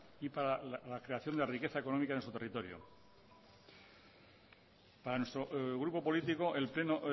y para la creación de riqueza económica en su territorio para nuestro grupo político el pleno